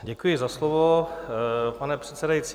Děkuji za slovo, pane předsedající.